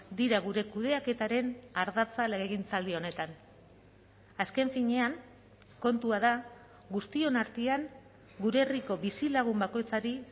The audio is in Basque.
dira gure kudeaketaren ardatza legegintzaldi honetan azken finean kontua da guztion artean gure herriko bizilagun bakoitzari